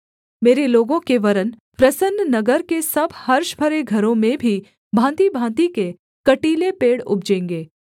मेरे लोगों के वरन् प्रसन्न नगर के सब हर्ष भरे घरों में भी भाँतिभाँति के कटीले पेड़ उपजेंगे